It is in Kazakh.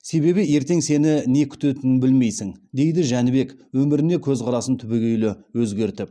себебі ертең сені не күтетінін білмейсің дейді жәнібек өміріне көзқарасын түбегейлі өзгертіп